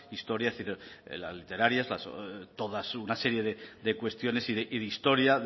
historia literarias todas una serie de cuestiones y de historia